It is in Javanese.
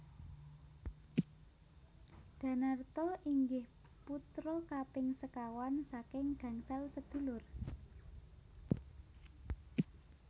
Danarto inggih putra kaping sekawan saking gangsal sedulur